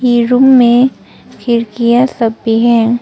ये रूम में खिड़कियां सब भी हैं।